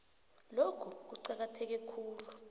lokhu kuqakatheke khulu